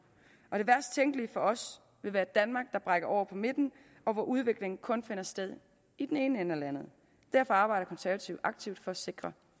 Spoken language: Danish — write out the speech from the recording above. det værst tænkelige for os vil være et danmark der brækker over på midten og hvor udvikling kun finder sted i den ene ende af landet derfor arbejder konservative aktivt for at sikre